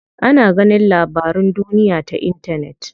Ana ganin labarun duniya ta intanet.